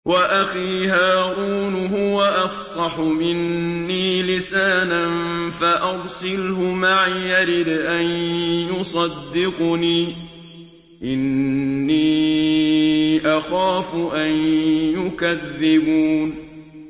وَأَخِي هَارُونُ هُوَ أَفْصَحُ مِنِّي لِسَانًا فَأَرْسِلْهُ مَعِيَ رِدْءًا يُصَدِّقُنِي ۖ إِنِّي أَخَافُ أَن يُكَذِّبُونِ